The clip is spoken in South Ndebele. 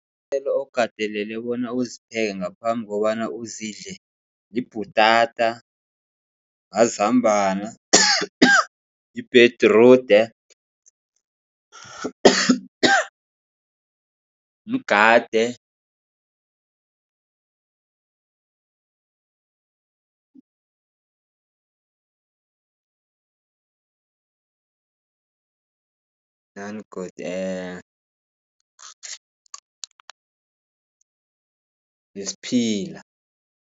Iinthelo okateleleke bona uzipheke ngaphambi kobana uzidle libhutata, mazambana, nebhedirudi, mgade, nani godu nesiphila.